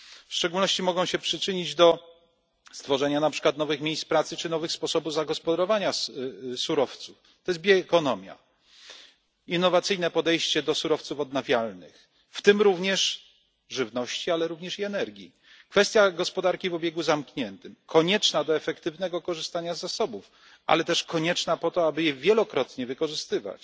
W szczególności mogą się przyczynić do stworzenia na przykład nowych miejsc pracy czy nowych sposobów zagospodarowania surowców. To jest bioekonomia, innowacyjne podejście do surowców odnawialnych, w tym również żywności, ale również i energii, kwestia gospodarki w obiegu zamkniętym konieczna do efektywnego korzystania z zasobów, ale też konieczna po to, aby je wielokrotnie wykorzystywać,